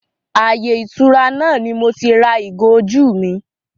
Ààyè ìtura náà ni moti ra ìgò ojú mi